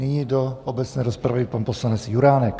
Nyní do obecné rozpravy pan poslanec Juránek.